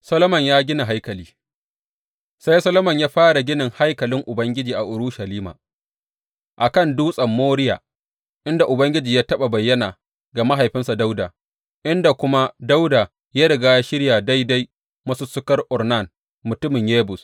Solomon ya gina haikali Sai Solomon ya fara ginin haikalin Ubangiji a Urushalima, a kan Dutsen Moriya, inda Ubangiji ya taɓa bayyana ga mahaifinsa Dawuda, inda kuma Dawuda ya riga ya shirya a daidai masussukar Ornan mutumin Yebus.